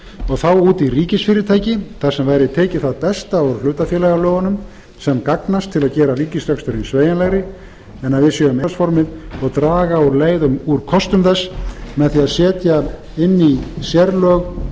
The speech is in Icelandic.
og þá út í ríkisfyrirtæki þar sem væri tekið það besta út hlutafélagalögunum sem gagnast til að gera ríkisreksturinn sveigjanlegri en hlutafélagsformið en draga úr leið úr kostum þess með því að setja inn í sérlög alls